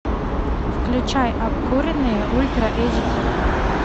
включай обкуренные ультра эйч ди